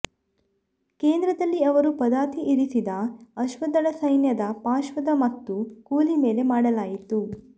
ಕೇಂದ್ರದಲ್ಲಿ ಅವರು ಪದಾತಿ ಇರಿಸಿದ ಅಶ್ವದಳ ಸೈನ್ಯದ ಪಾರ್ಶ್ವದ ಮತ್ತು ಕೂಲಿ ಮೇಲೆ ಮಾಡಲಾಯಿತು